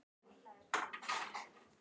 Ég er ekki alveg viss svaraði mamma.